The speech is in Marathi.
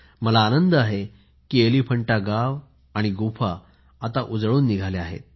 मला आनंद आहे की एलिफंटा गाव आणि गुहा आता उजळून निघाली आहेत